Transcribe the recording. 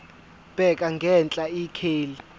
bheka ngenhla ikheli